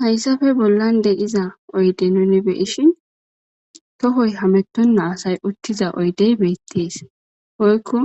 Hayisape bollan diza oyide nuni be'ishin tohoyi hametena asay utida oyidey betes woyiko